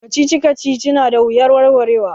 Kacici kacici na da wuyar warwarewa.